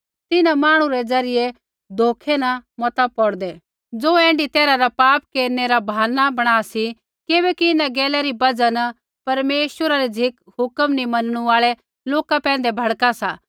तिन्हां मांहणु रै ज़रियै धोखै न मता पौड़दै ज़ो ऐण्ढी तैरहा रा पाप केरनै रा बहाना बणा सी किबैकि इन्हां गैला री बजहा न परमेश्वरा री झ़िक हुक्म नी मनणु आल़ै लोका पैंधै भड़का सा